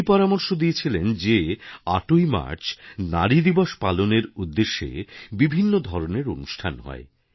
উনি পরামর্শ দিয়েছিলেন যে ৮ ই মার্চ নারী দিবস পালনের উদ্দেশে বিভিন্ন ধরনের অনুষ্ঠান হয়